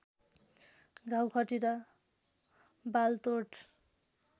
घाउ खटिरा बालतोड